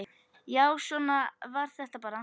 Já, svona var þetta bara.